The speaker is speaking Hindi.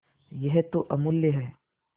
यह तो अमुल्य है